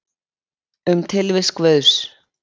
Um tilvist Guðs.